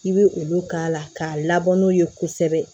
I bɛ olu k'a la k'a labɔ n'o ye kosɛbɛ